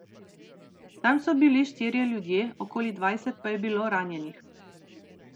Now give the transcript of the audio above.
Tam so bili štirje ljudje, okoli dvajset pa je bilo ranjenih.